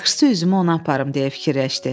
Yaxşısı üzümü ona aparım deyə fikirləşdi.